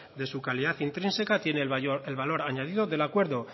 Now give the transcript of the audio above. de su calidad intrínseca tiene el valor añadido del acuerdo